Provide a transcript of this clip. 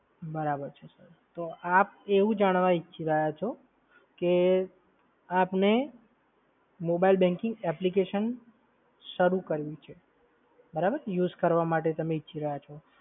બરાબર છે સર. તો આપ એવું જાણવા ઇચ્છી રહ્યા છો કે આપને mobile banking application શરૂ કરવું છે. બરાબર? યુઝ કરવા માટે તમે ઇચ્છી રહ્યા છો.